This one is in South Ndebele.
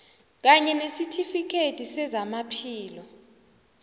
kanye nesitifikhethi sezamaphilo